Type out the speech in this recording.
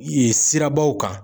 Yen sirabaw kan.